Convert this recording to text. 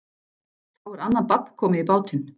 Þá er annað babb komið í bátinn.